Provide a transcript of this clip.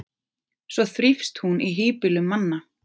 því þrífst hún í hýbýlum manna